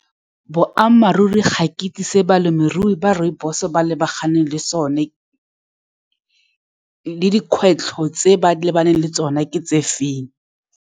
Boammaruri, ga ke itse se balemirui ba rooibos-e ba lebaganeng le sone, le dikgwetlho tse ba lebaneng le tsone, ke tse feng.